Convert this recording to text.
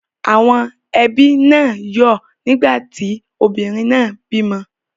Àwọn ẹbí náà yọ́ ọ̀ nígbà tí obìnrin náà bímọ.